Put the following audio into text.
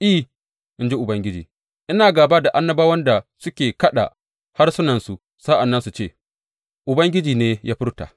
I, in ji Ubangiji, Ina gāba da annabawan da suke kaɗa harsunansu sa’an nan su ce, Ubangiji ne ya furta.’